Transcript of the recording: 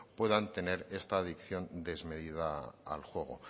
puedan tener esta adicción desmedida al juego